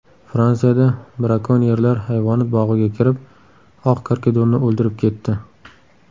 Fransiyada brakonyerlar hayvonot bog‘iga kirib, oq karkidonni o‘ldirib ketdi.